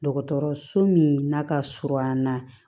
Dɔgɔtɔrɔso min n'a ka surun an na